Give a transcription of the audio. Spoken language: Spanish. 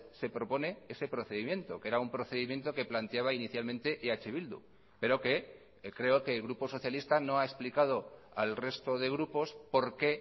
se propone ese procedimiento que era un procedimiento que planteaba inicialmente eh bildu pero que creo que el grupo socialista no ha explicado al resto de grupos por qué